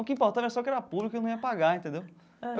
O que importava era só que era pública e eu não ia pagar entendeu.